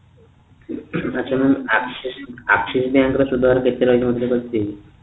ଆଛା mam axis axis bank ର ସୁଧହାର କେତେ ରହିବ ସେଇଟା କୁହନ୍ତୁ